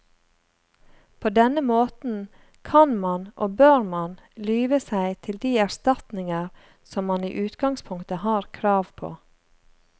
På denne måten kan man og bør man lyve seg til de erstatninger som man i utgangspunktet har krav på.